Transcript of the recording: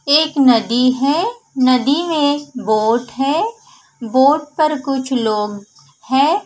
एक नदी है नदी में एक बोट है बोट पर कुछ लोग है।